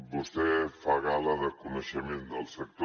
vostè fa gala de coneixement del sector